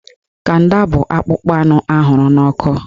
Kanda bụ akpụkpọ anụ ahụrụ n'ọkụ